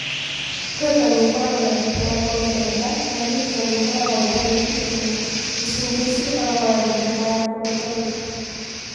Protoni ikoragwo na thitima ya kuongerereka, nayo neutroni ikoragwo itarĩ thitima. Icunji icio ikoragwo na thitima ya kũrutaruta.